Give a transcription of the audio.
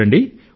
చూడండి